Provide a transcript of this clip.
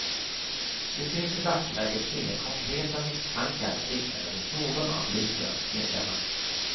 Det finns i dagsläget inga konkreta misstankar riktade mot någon av ligans medlemmar.